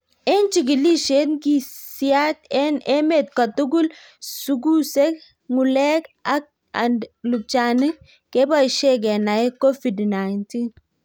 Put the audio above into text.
Ing' chigilisiet ng'isiat eng' emet kotugul, sukusek, ng'ulek and lupchanik kebaishe kenae covid-19.